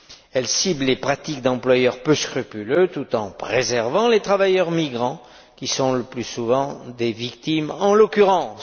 Elle cible les pratiques d'employeurs peu scrupuleux, tout en préservant les travailleurs migrants, qui sont le plus souvent des victimes en l'occurrence.